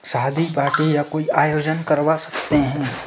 शादी पार्टी या कुछ आयोजन करवा सकते हैं।